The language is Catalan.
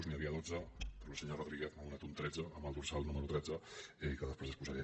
n’hi havia dotze però el senyor rodríguez me n’ha donat un tretzè amb el dorsal número tretze que després exposaré